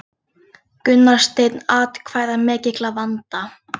Gunnar Steinn atkvæðamikill að vanda